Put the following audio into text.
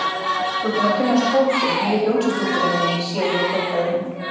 Þú ert búinn að kynnast Tótu, nýju þjónustustúlkunni minni, sé ég hrópaði hún.